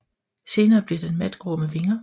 Senere bliver den matgrå med vinger